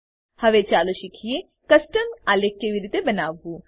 હવે ચાલો શીખીએ કે કસ્ટમ આલેખ કેવી રીતે બનાવવું